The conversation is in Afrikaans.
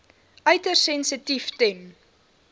uiters sensitief ten